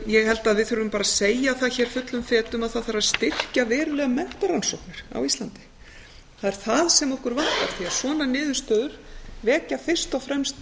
ég held að við þurfum bara að segja það hér fullum fetum að það þarf að styrkja verulega menntarannsóknir á íslandi það er það sem okkur vantar því svona niðurstöður vekja fyrst og fremst